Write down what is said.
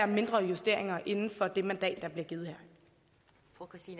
mindre justeringer inden for det mandat der bliver givet